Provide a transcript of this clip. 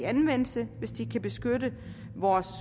anvendelse hvis de kan beskytte vores